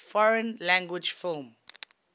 foreign language film